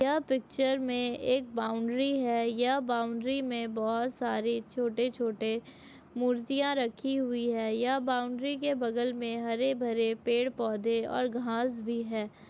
यह पिच्चर में एक बाउंड्री है यह बाउंड्री में छोटे - छोटे मुर्तिया रखी हुई है यह बाउंड्री के बगल में हरे - भरे पेड़ पौधे और घास भी है।